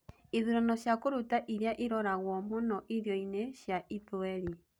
ĩthũrano cĩa kũrũta irĩaĩroragwo mũnoĩrĩo-ĩnĩ cĩa ithũerĩ